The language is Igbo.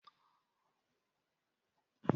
Ọ ga enye ya onye na-ahụ maka nnyocha.